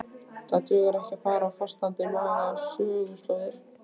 Það dugar ekki að fara á fastandi maga á söguslóðir.